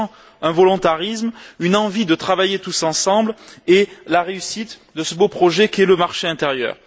On sent un volontarisme, une envie de travailler ensemble à la réussite de ce beau projet qu'est le marché intérieur.